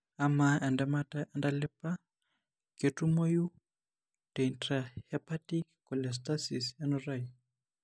Amaa entemata entalipa ketumoyu teintrahepatic cholestasis enutai?